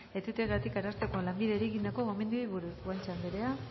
eteteagatik arartekoak lanbideri egindako gomendioei buruz guanche andrea